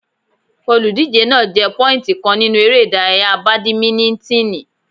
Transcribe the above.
Olùdíje náà jẹ pọ́íìntì kan nínú eré ìdárayá bàdímínítìnì.